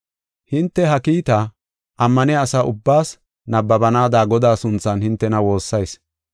Hinte ha kiitaa ammaniya asa ubbaas nabbabanaada Godaa sunthan hintena woossayis.